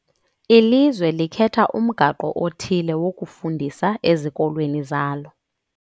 Ilizwe likhetha umgaqo othile wokufundisa ezikolweni zalo.